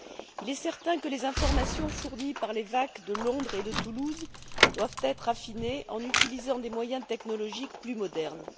Il est certain que les informations fournies par les VAC de Londres et de Toulouse doivent être affinées en utilisant des moyens technologiques plus modernes.